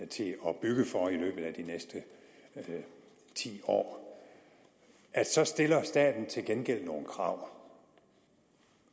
til at bygge for i løbet af de næste ti år så stiller staten til gengæld nogle krav